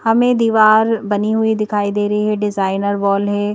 हमें दीवार बनी हुई दिखाई दे रही है डिजाइनर वॉल है।